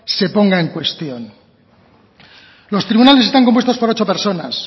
se ponga en cuestión los tribunales están compuestos por ocho personas